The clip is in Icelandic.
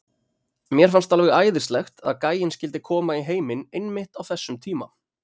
Mér fannst alveg æðislegt að gæinn skyldi koma í heiminn einmitt á þessum tíma.